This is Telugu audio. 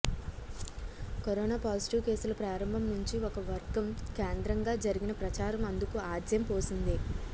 కరోనా పాజిటివ్ కేసుల ప్రారంభం నుంచి ఒక వర్గం కేంద్రంగా జరిగిన ప్రచారం అందుకు ఆజ్యం పోసింది